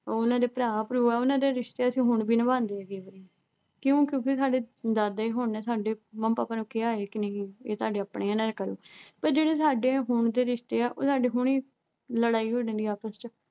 ਉਹਨਾਂ ਦੇ ਭਰਾ-ਭਰੂ ਐ ਉਹਨਾਂ ਦੇ ਰਿਸ਼ਤੇ ਅਸੀਂ ਹੁਣ ਵੀ ਨਿਭਾਂਦੇ ਹੈਗੇ ਪਏ ਕਿਉਂ ਕਿਉਂਕਿ ਸਾਡੇ ਦਾਦੇ ਹੋਰਾਂ ਨੇ ਸਾਡੇ ਮੰਮਾਂ-ਪਾਪਾ ਨੂੰ ਕਿਹਾ ਏ ਕਿ ਨਹੀਂ ਏ ਤੁਹਾਡੇ ਆਪਣੇ ਐ ਇਹਨਾਂ ਦਾ ਕਰੋ ਪਰ ਜਿਹੜੇ ਸਾਡੇ ਹੁਣ ਦੇ ਰਿਸ਼ਤੇ ਐ ਉਹ ਸਾਡੇ ਹੁਣੀਂ ਲੜਾਈ ਹੋ ਜਾਂਦੀ ਐ ਆਪਸ ਚ